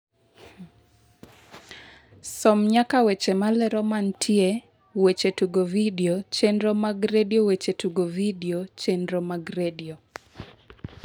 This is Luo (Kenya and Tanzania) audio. som nyaka weche malero mantie weche tugo vidio chenro mag redio weche tugo vidio chenro mag redio